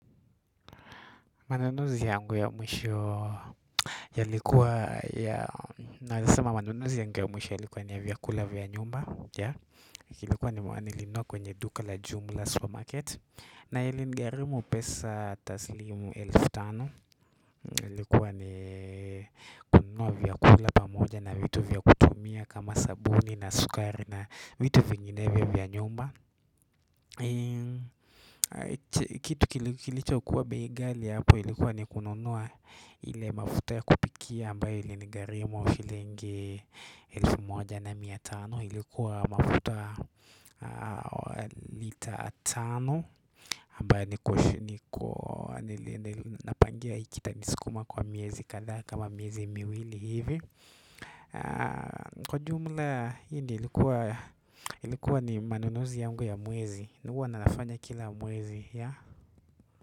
Manunuzi yangu ya mwisho yalikuwa ya naezasema manunuzi yangu ya mwisho yalikuwa ni vyakula vya nyumba ilikuwa nilinunua kwenye duka la jumla supermarket na ilinigharimu pesa taslimu elfu tano ilikuwa ni kununua vyakula pamoja na vitu vya kutumia kama sabuni na sukari na vitu vinginevyo vya nyumba kitu kilichokuwa bei ghali hapo ilikuwa ni kununua ile mafuta ya kupikia ambayo ilinigharimu shilingi elfu moja na mia tano ilikuwa mafuta lita tano ambayo napangia itanisukuma kwa miezi kadhaa kama miezi miwili hivi kwa jumla hii ni ilikuwa ilikuwa ni manunuzi yangu ya mwezi huwa nafanya kila mwezi.